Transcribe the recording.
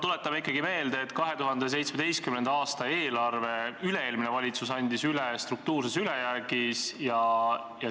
Tuletame ikkagi meelde, et 2017. aasta eelarve andis üle-eelmine valitsus üle struktuurses ülejäägis.